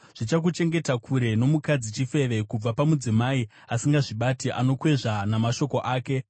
zvichakuchengeta kure nomukadzi chifeve; kubva pamudzimai asingazvibati anokwezva namashoko ake.